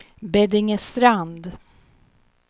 Beddingestrand